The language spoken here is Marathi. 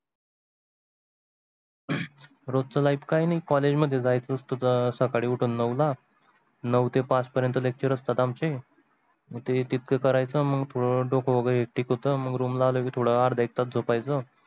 रोजच life काही नाही College मध्ये जायचं असत साकडी उठून नव ला नव ते पाच पर्यंत lecture असत आमचे ते तितक करायचं मग धोड डोक टेकायच मग room ला आल कि थोडा अर्धा एक तास झोपायचं